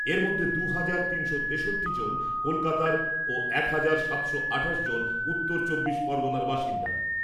এর মধ্যে দু হাজার তিনশো তেষট্টি জন কলকাতার ও এক হাজার সাতশো আঠাশ জন উত্তর চব্বিশ পরগনার বাসিন্দা।